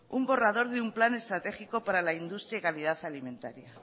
un borrador de un plan estratégico para la industria y calidad alimentaria